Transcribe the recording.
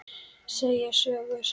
Segja sögur.